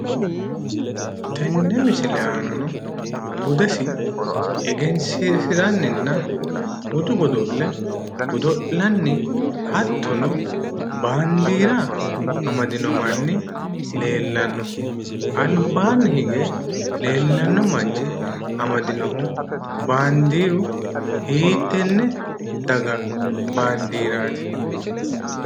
Tennd misile aana budesi egensiisiranninna budu godo'le godo'lanni hattono, baandiira amadino manni leellanno albaanni hige leellanno manchi amadinohu baandiiru hiittenne daga baandiiraati?